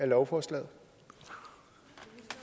lovforslaget